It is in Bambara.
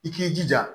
I k'i jija